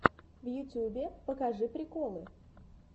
в ютюбе покажи приколы